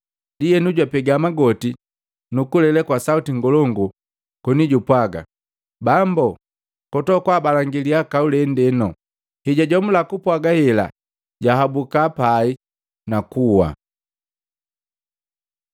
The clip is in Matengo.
Ndienu jwapega magoti, nukulela kwa sauti ngolongu konijupwa, “Bambo koto kwaabalangii lihakau lendeno. Hejajomula kupwaga hela jahabuka pai nakuwa.”